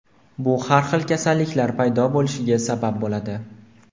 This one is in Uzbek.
Bu har xil kasalliklar paydo bo‘lishiga sabab bo‘ladi.